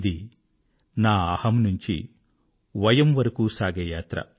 ఇది నా అహమ్ నుంచి వయమ్ వరకూ సాగే యాత్ర